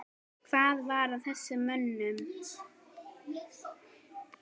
Hvað var að þessum mönnum?